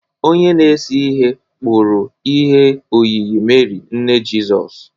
Onye na-ese ihe kpụrụ ihe oyiyi Meri, nne Jizọs